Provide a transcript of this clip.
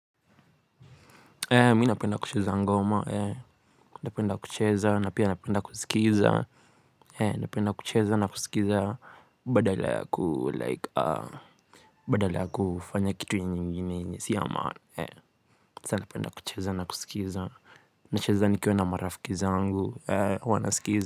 Mi napenda kucheza ngoma, napenda kucheza, na pia napenda kusikiza, napenda kucheza na kusikiza, badala ya kufanya kitu nyingine, si yama, napenda kucheza na kusikiza, nacheza nikiwa na marafiki zangu, huwa na skiza.